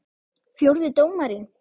Fjórði dómarinn?